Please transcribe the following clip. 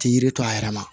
Ti yiri to a yɛrɛ la